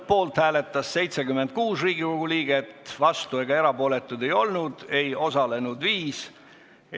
Poolt hääletas 76 Riigikogu liiget, vastuolijaid ega erapooletuid ei olnud, ei osalenud 5 rahvasaadikut.